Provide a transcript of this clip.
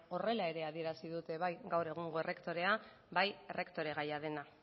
horrela ere adierazi dute ere gaur egungo errektorea bai errektore gaia dena